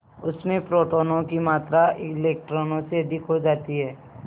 उसमें प्रोटोनों की मात्रा इलेक्ट्रॉनों से अधिक हो जाती है